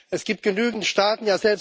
Es gibt genügend Staaten.